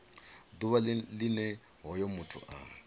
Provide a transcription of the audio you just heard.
ḓuvha line hoyo muthu a